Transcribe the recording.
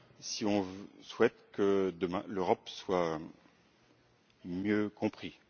si on souhaite que, demain, l'Europe soit mieux comprise.